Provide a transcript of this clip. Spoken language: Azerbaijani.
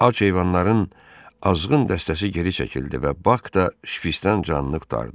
Ac heyvanların azğın dəstəsi geri çəkildi və Bak da şpiçtan canını qurtardı.